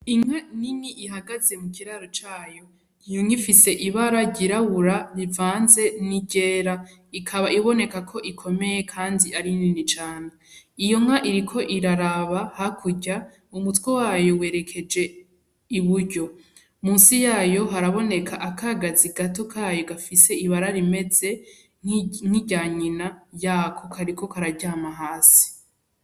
Inka nini ihagaze mukiraro cayo. Iyonka ifise ibara ryirabura rivanze n'iryera. Ikaba ibonekako ikomeye kandi ari nini cane. Iyonka iriko iraraba hakurya, umutwe wayo werekeje iburyo. Musi yayo haraboneka akagazi gato kayo gafise ibara rimeze nk'irya nyina yako. Kariko kararyama hasi.